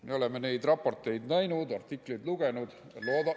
Me oleme neid raporteid näinud ja artikleid lugenud.